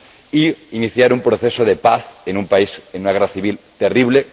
e iniciar un proceso de paz en un país en una guerra civil terrible